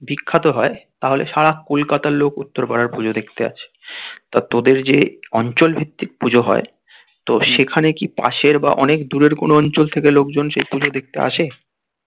বিখ্যাত হয় তাহলে সারা কলকাতার লোক উত্তর পাড়ার পুজো দেখতে আসে. তা তোদের যে অঞ্চল ভিত্তিক পুজো হয় তো সেখানে কি পাশের বা অনেক দূরের কোনো অঞ্চল থেকে সে পুজো দেখতে আসে.